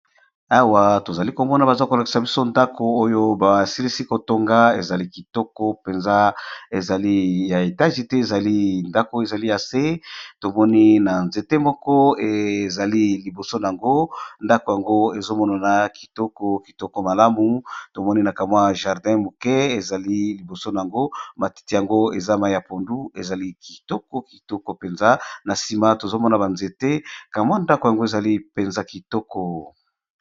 Awa tozali komona bazakolakisa biso ndako oyo basilisi kotonga ezali kitoko penza ezali ya etagi te, ezali ndako ezali ase tomoni na nzete moko ezali liboso a yango ndako yango ezomona na kitoko kitoko malamu tomoni na kamwa jardin muke ezali liboso yango matiti yango eza mai ya pondu ezali kitoko kitoko penza na sima tozomona ba nzete kamwa ndako yango ezali penza kitoko.